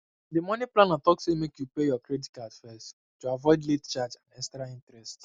di money planner talk say make you pay your credit card first to avoid late charge and extra interest